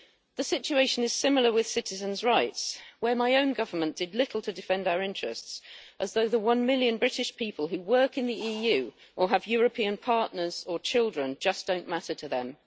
The situation is similar with citizens' rights where my own government did little to defend our interests, as though the one million British people who work in the EU or have European partners or children just don't matter to them.